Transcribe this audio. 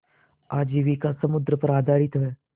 आजीविका समुद्र पर आधारित है